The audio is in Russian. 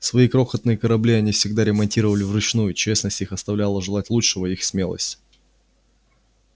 свои крохотные корабли они всегда ремонтировали вручную честность их оставляла желать лучшего их смелость